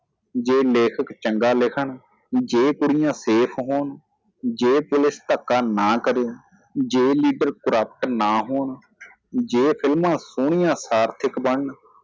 ਜੇ ਲੇਖਕ ਚੰਗਾ ਲਿਖਣ ਜੇ ਕੁੜੀਆਂ safe ਹੋਣ ਜੇ police ਧੱਕਾ ਨਾ ਕਰੇ ਜੇ leader corrupt ਨਾ ਹੋਣ ਜੇ ਫ਼ਿਲਮਾਂ ਸੋਹਣੀਆਂ ਸਾਰਥਿਕ ਬਨਣ